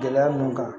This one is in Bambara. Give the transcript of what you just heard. Gɛlɛya ninnu kan